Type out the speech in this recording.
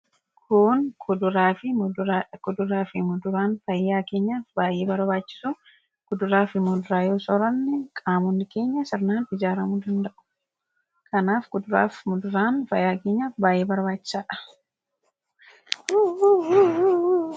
Kun kuduraa fi muduraadha. Waan fayyaa keenyaaf baay'ee barbaachisu fuduraa fi kuduraa yoo sooranne qaamni keenya seeraan ijaaramuu danda'a. Kanaaf kuduraa fi kuduraan fayyaa keenyaaf baay'ee barbaachisaadha.